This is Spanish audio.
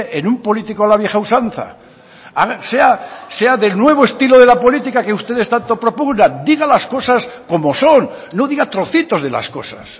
en un político a la vieja usanza a ver sea del nuevo estilo de política que ustedes tanto propugnan digan las cosas como son no diga trocitos de las cosas